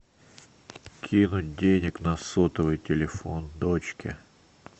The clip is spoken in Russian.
кинуть денег на сотовый телефон дочки